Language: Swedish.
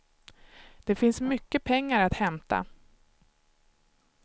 Det finns mycket pengar att hämta.